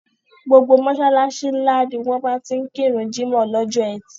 Gbogbo mọ́ṣáláṣí ńlá ni wọ́n máa ti kíru jímọ̀ lọ́jọ ẹtì.